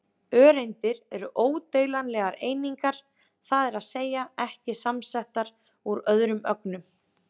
Öreindir eru ódeilanlegar einingar, það er að segja ekki samsettar úr öðrum ögnum.